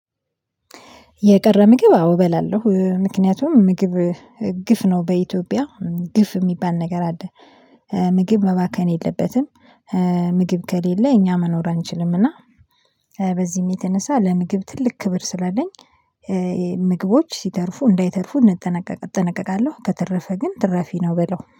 የቀረ ምግብ አዎ እበላለሁ ምክንያቱም ምግብ ግፍ ነው በኢትዮጵያ ግፍ የሚባል ነገር አለ። ምግብ መባከን የለበትም። ምግብ ከሌለ እኛ መኖር አንችልም። እና በዚህም የተነሳ ለምግብ ትልቅ ክብር ስላለኝ ምግቦች ሲተርፉ እንዳይተርፉ እጠነቀቃለሁ። ከተረፈ ግን ትራፊ ነው ምበላው